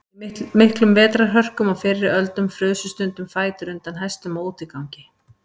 í miklum vetrarhörkum á fyrri öldum frusu stundum fætur undan hestum á útigangi